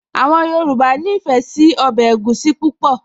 Àwọn Yorùbá nífẹ̀ẹ́ sí ọbẹ̀ egusi púpọ̀